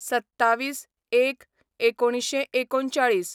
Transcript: २७/०१/१९३९